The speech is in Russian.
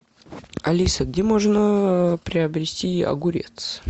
алиса где можно приобрести огурец